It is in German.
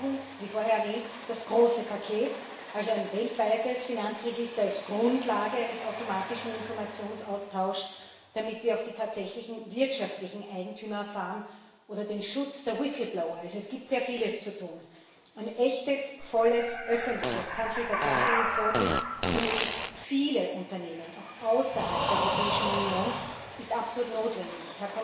Wir brauchen wie vorher erwähnt das große Paket, also ein weltweites Finanzregister als Grundlage eines automatischen Informationsaustauschs, damit wir auch die tatsächlichen wirtschaftlichen Eigentümer erfahren, oder den Schutz der Whistleblower es gibt sehr vieles zu tun. Und echtes volles öffentliches für möglichst viele Unternehmen, auch außerhalb der Europäischen Union, ist absolut notwendig.